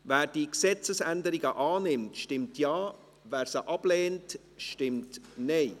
Wer diese Gesetzesänderungen annimmt, stimmt Ja, wer diese ablehnt, stimmt Nein.